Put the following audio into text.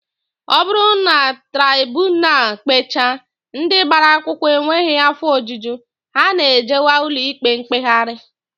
Ọ bụrụ na traibunal kpechaa, ndị gbara akwụkwọ enweghị afọ ojuju, ha na-ejewe ụlọikpe mkpegharị